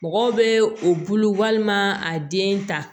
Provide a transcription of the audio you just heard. Mɔgɔw bɛ o bolo walima a den ta